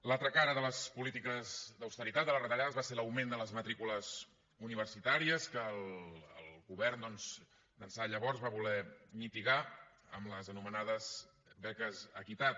l’altra cara de les polítiques d’austeritat de les retallades va ser l’augment de les matrícules universitàries que el govern doncs d’ençà de llavors va voler mitigar amb les anomenades beques equitat